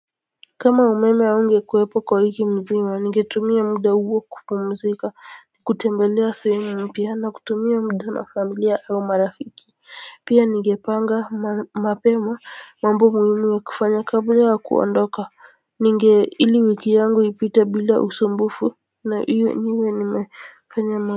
Kama umeme haungekuwepo kwa wiki nzima ningetumia muda huo kupumzika. Kutembelea sehemu mpya na kutumia mda na familia au marafiki pia nigepanga mapema mambo muhimu ya kufanya kabla aya kuandoka ninge ili wiki yangu ipite bila usumbufu na iwe niwe nimefanya.